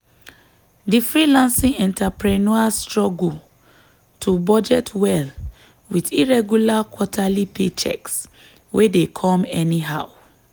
di freelancing entrepreneur struggle to budget well with irregular quarterly paychecks wey dey come anyhow.